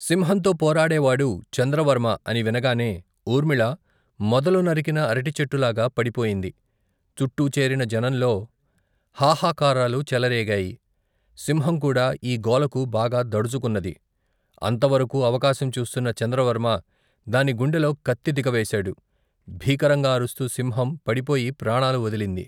సింహంతో పోరాడేవాడు చంద్రవర్మ అని వినగానే ఊర్మిళ మొదలు నరికిన అరటిచెట్టులాగా పడిపోయింది. చుట్టూ చేరిన జనంలో హాహకారాలు చెలరేగాయి. సింహం కూడా ఈ గోలకు బాగా దడుచుకున్నది. అంతవరకూ అవకాశం చూస్తున్న చంద్రవర్మ దాని గుండెలో కత్తి దిగవేశాడు. భీకరంగా అరుస్తూ సింహం పడిపోయి ప్రాణాలు వదిలింది.